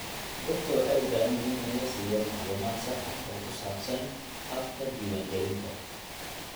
Dadka waxay u baahan yihiin in la siiyo macluumaad sax ah oo ku saabsan habka diiwaangelinta.